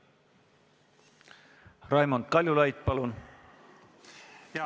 Raimond Kaljulaid, palun!